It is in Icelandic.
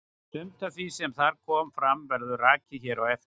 Sumt af því sem þar kom fram verður rakið hér á eftir.